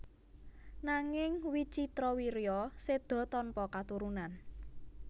Nanging Wicitrawirya séda tanpa katurunan